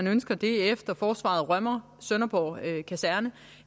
ønsker det efter forsvaret rømmer sønderborg kaserne